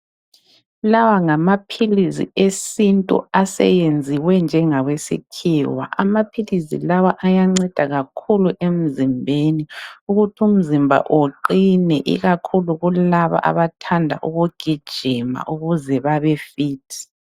Lawa ngamaphilizi esintu aseyenziwe njengawesikhiwa. Amaphilizi lawa ayanceda kakhulu emzimbeni ukuthi umzimba uqine ikakhulu kulabo abathanda ukugijima ukuze babe 'fit'.